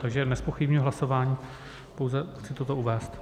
Takže nezpochybňuji hlasování, pouze chci toto uvést.